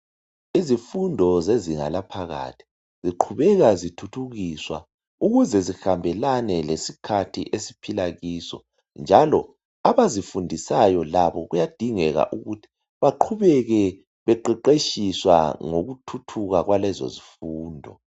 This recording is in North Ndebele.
Izifundo zezinga laphakathi ziqhubeka zithuthukiswa ukuze zihambelane lesikhathi esiphila kiso njalo abazifundisayo labo kuyadingeka ukuthi baqhubeke beqeqetshiswa ngokuthuthuka kwalezo zifundo